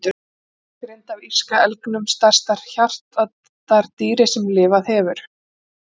Beinagrind af írska elgnum, stærsta hjartardýri sem lifað hefur.